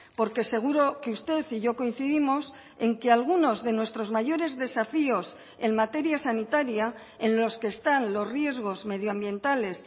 porque seguro que usted y yo coincidimos en que algunos de nuestros mayores desafíos en materia sanitaria en los que están los riesgos medioambientales